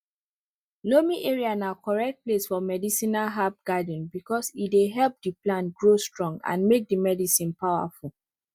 loamy area na correct place for medicinal herb garden because e dey help the plant grow strong and make the medicine power full